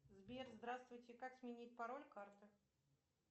сбер здравствуйте как сменить пароль карты